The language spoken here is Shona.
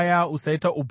Usaita upombwe.